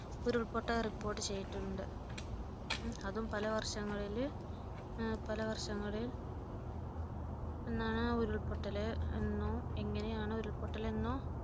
ഉരുൾപൊട്ടൽ report ചെയ്തിട്ടുണ്ട്. അതും പല വർഷങ്ങളിൽ പലവർഷങ്ങളില് എന്നാണ് ആ ഉരുൾ പൊട്ടൽ എന്നോ എങ്ങനെയാണ് ആ ഉരുൾപൊട്ടൽ എന്നോ